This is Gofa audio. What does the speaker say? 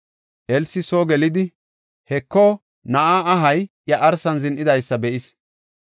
Elsi soo gelidi, Heko, na7aa ahay iya arsan zin7idaysa be7is.